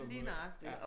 Lige nøjagtig